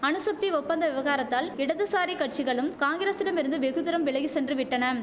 அணுசக்தி ஒப்பந்த விவகாரத்தால் இடதுசாரி கட்சிகளும் காங்கிரசிடம் இருந்து வெகு தூரம் விலகி சென்று விட்டனம்